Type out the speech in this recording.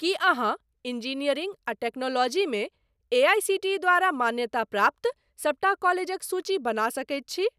की अहाँ इंजीनियरिंग आ टेक्नोलॉजी मे एआईसीटीई द्वारा मान्यताप्राप्त सबटा कॉलेजक सूची बना सकैत छी?